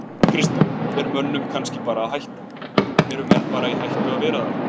Kristján: Er mönnum kannski bara hætta, eru menn bara í hættu að vera þarna?